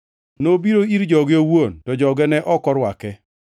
Nobiro ir joge owuon, to joge ne ok orwake.